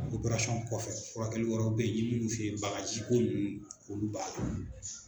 kɔfɛ furakɛli wɛrɛw bɛyi n ye minnu fɔ i ye bagajiko minnu olu b'a la.